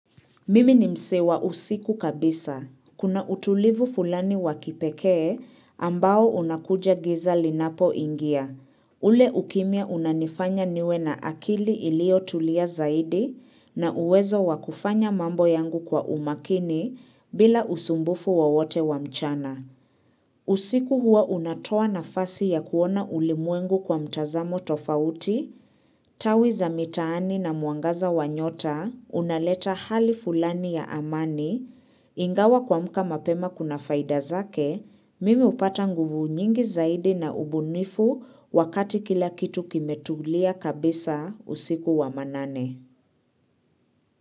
Mimi ni msee wa usiku kabisa. Kuna utulivu fulani wakipekee ambao unakuja giza linapoingia. Ule ukimia unanifanya niwe na akili iliotulia zaidi na uwezo wakufanya mambo yangu kwa umakini bila usumbufu wowote wa mchana. Usiku huwa unatoa nafasi ya kuona ulimwengu kwa mtazamo tofauti, tawi za mitaani na mwangaza wa nyota, unaleta hali fulani ya amani, ingawa kuamka mapema kuna faida zake, mimi hupata nguvu nyingi zaidi na ubunifu wakati kila kitu kimetulia kabisa usiku wa manane.